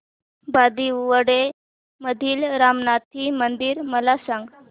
बांदिवडे मधील रामनाथी मंदिर मला सांग